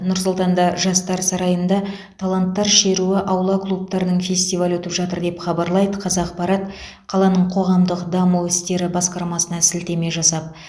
нұр сұлтанда жастар сарайында таланттар шеруі аула клубтарының фестивалі өтіп жатыр деп хабарлайды қазақпарат қаланың қоғамдық даму істері басқармасына сілтеме жасап